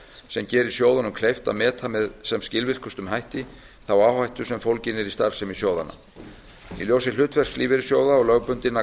sem geri sjóðunum kleift að meta með sem skilvirkustum hætti þá áhættu sem fólgin er í starfsemi sjóðanna í ljósi hlutverks lífeyrissjóða og lögbundinna